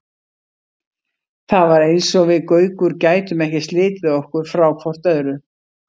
Það var eins og við Gaukur gætum ekki slitið okkur frá hvort öðru.